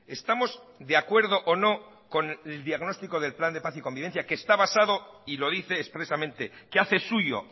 estamos de acuerdo o no con el diagnóstico del plan de paz y convivencia que está basado y lo dice expresamente que hace suyo